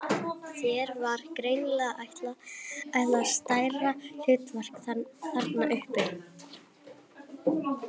Þér var greinilega ætlað stærra hlutverk þarna uppi!